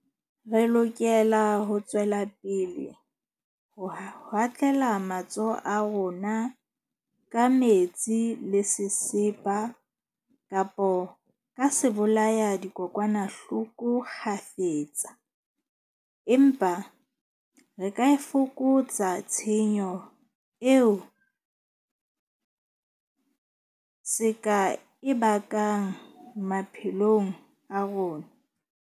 Re lokela ho tswela pele ho hatlela matsoho a rona ka metsi le sesepa kapa ka sebolayadikokwanahloko kgafetsa. Empa re ka e fokotsa tshenyo eo se ka e bakang maphelong a rona.